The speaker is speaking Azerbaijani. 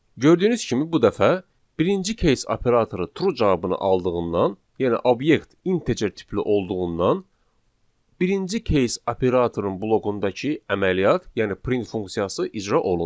Gördüyünüz kimi bu dəfə birinci case operatoru true cavabını aldığından, yəni obyekt integer tipli olduğundan birinci case operatorun bloqundakı əməliyyat, yəni print funksiyası icra olundu.